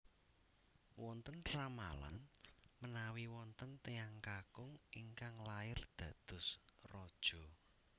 Wonten ramalan menawi wonten tiyang kakung ingkang lair dados raja